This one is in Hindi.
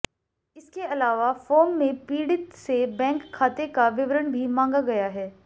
इसके अलावा फॉर्म में पीड़ित से बैंक खाते का विवरण भी मांगा गया है